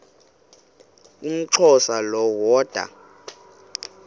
umxhosa lo woda